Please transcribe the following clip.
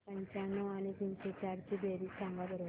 एकशे पंच्याण्णव आणि तीनशे चार ची बेरीज सांगा बरं